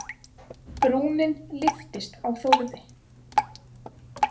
Brúnin lyftist á Þórði.